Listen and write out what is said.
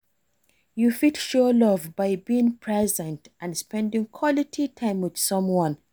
You fit show love by being present and spending quality time with someone.